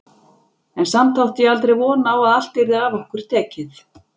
En samt átti ég aldrei von á að allt yrði af okkur tekið.